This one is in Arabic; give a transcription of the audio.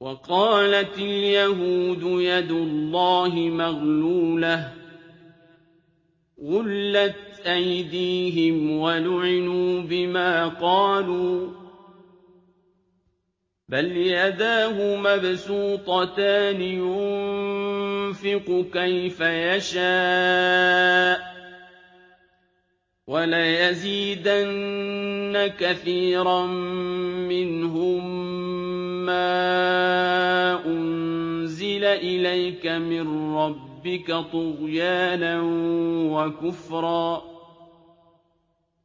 وَقَالَتِ الْيَهُودُ يَدُ اللَّهِ مَغْلُولَةٌ ۚ غُلَّتْ أَيْدِيهِمْ وَلُعِنُوا بِمَا قَالُوا ۘ بَلْ يَدَاهُ مَبْسُوطَتَانِ يُنفِقُ كَيْفَ يَشَاءُ ۚ وَلَيَزِيدَنَّ كَثِيرًا مِّنْهُم مَّا أُنزِلَ إِلَيْكَ مِن رَّبِّكَ طُغْيَانًا وَكُفْرًا ۚ